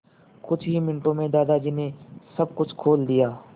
कुछ ही मिनटों में दादाजी ने सब कुछ खोल दिया